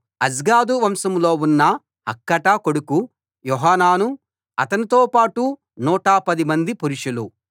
Azgad వంశంలో ఉన్న హక్కాటా కొడుకు యోహానాను అతనితో పాటు 110 మంది పురుషులు